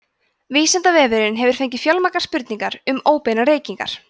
vísindavefurinn hefur fengið fjölmargar spurningar um óbeinar reykingar